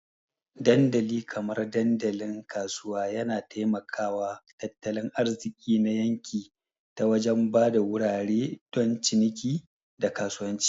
Dandali kamar dandalin kasuwa yana taimaka wa tattalin arziki na yanki ta wajen ba da wurare don ciniki, da kasuwanci.